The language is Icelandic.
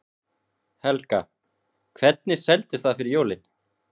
Helga: Hvernig seldist það fyrir jólin?